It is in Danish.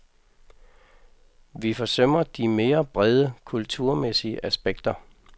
Vi forsømmer de mere brede kulturmæssige aspekter.